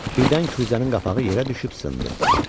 Birdən kuzənin qapağı yerə düşüb sındı.